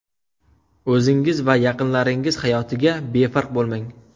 O‘zingiz va yaqinlaringiz hayotiga befarq bo‘lmang.